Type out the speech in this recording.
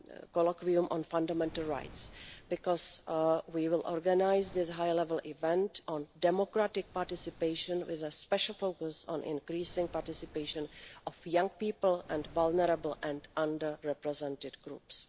Colloquium on Fundamental Rights, because we will organise this high level event on democratic participation with a special focus on increasing the participation of young people and vulnerable and under represented groups.